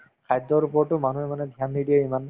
খাদ্যৰ ওপৰতো মানুহে মানে dhyan নিদিয়ে ইমান